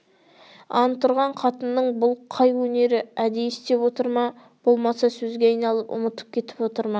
ант ұрған қатынның бұл қай өнері әдейі істеп отыр ма болмаса сөзге айналып ұмытып кетіп отыр ма